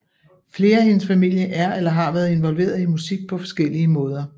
Flere af hendes familie er eller har været involveret i musik på forskellige måder